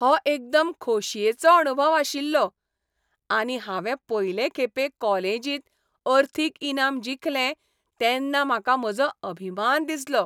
हो एकदम खोशयेचो अणभव आशिल्लो आनी हांवें पयलें खेपे कॉलेजींत अर्थीक इनाम जिखलें तेन्ना म्हाका म्हजो अभिमान दिसलो.